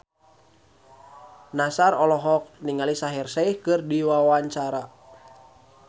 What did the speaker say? Nassar olohok ningali Shaheer Sheikh keur diwawancara